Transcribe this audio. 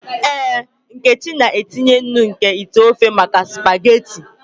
Ee, nkechi na-etinye nnu nke ite ofe maka spaghetị.